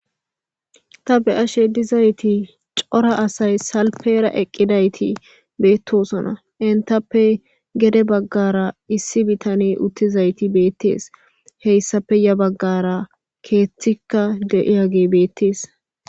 Ta be'ashe dizayti c'ora asay salphera eqidati betosona entappe gedebagara issi bitaney utidaysi betes hesape yabagara kethika di'yage betes.